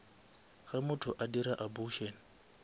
ge motho a dira abortion